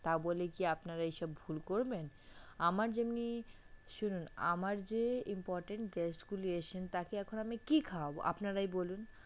তা বলে কি আপনারা এসব ভুল করবেন? আমার যেমনি শুনুন আমার যে important guest গুলি এসেছে তাকে এখন আমি কি খাওয়াবো আপনারাই বলুন